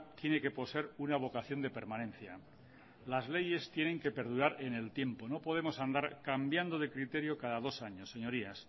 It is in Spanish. tiene que poseer una vocación de permanencia las leyes tienen que perdurar en el tiempo no podemos andar cambiando de criterio cada dos años señorías